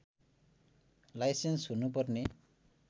licence हुनु पर्ने